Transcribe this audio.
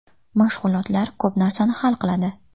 Mashg‘ulotlar ko‘p narsani hal qiladi.